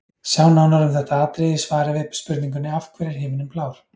Sjá nánar um þetta atriði í svari við spurningunni Af hverju er himininn blár?.